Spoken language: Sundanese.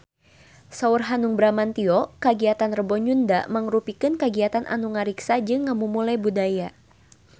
Saur Hanung Bramantyo kagiatan Rebo Nyunda mangrupikeun kagiatan anu ngariksa jeung ngamumule budaya Sunda